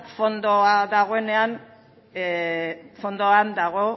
fondoan dagoenean